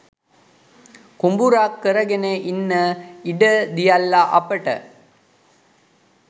කුඹුරක් කරගෙන ඉන්න ඉඩ දියල්ල අපට.